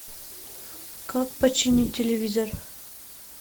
как починить телевизор